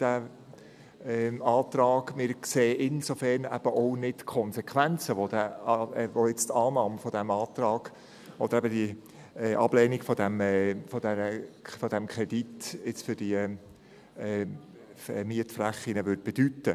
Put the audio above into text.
Wir sehen deshalb auch die Konsequenzen nicht, welche die Annahme dieses Antrags oder die Ablehnung dieses Kredits für diese Mietflächen hätte.